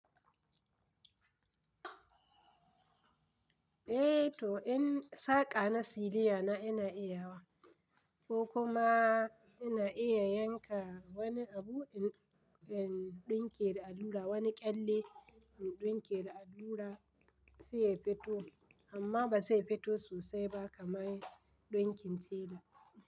Eh to, in saƙa na siliya na ina iya wa ko kuma ina iya yanka wani abu in ɗinke da allura, wani kyalle in ɗinke da allura sai ya fito amma ba zai fito sosai ba kamar ɗinkin siliya.